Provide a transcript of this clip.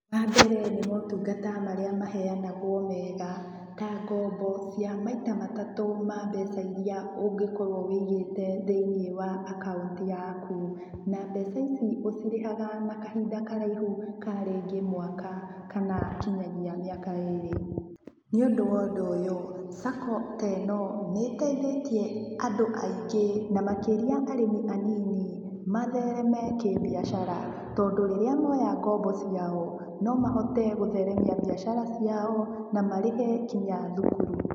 Wa mbere nĩ maũtungata marĩa maheanagwo mega, ta ngombo cia maita matatũ ma mbeca iria ũngĩkorwo ũigĩte thĩinĩ wa akaunti yaku. Na mbeca ici ũcirĩhaga na kahinda karaihu ka rĩngĩ mwaka, kana nginyagia mĩaka erĩ. Nĩũndũ wa ũndũ ũyũ, SACCO teeno, nĩ ĩteithĩtie andũ aingĩ na makĩria arĩmi anini, mathereme kĩmbiacara. Tondũ rĩrĩa moya ngombo ciao, no mahote gũtheremia mbiacara ciao, na marĩhe nginya thukuru.